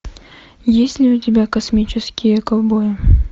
есть ли у тебя космические ковбои